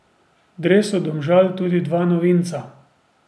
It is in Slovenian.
V dresu Domžal tudi dva novinca.